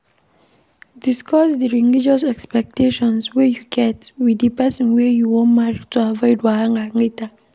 Discuss di religious expectations wey you get with di person wey you wan marry to avoid wahala later